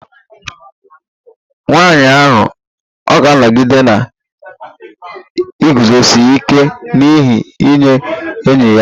Nwanyị ahụ ọ̀ ga-anọgide na-eguzosi ike n'ihe nye enyi ya?